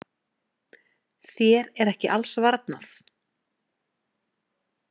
Þér er ekki alls varnað.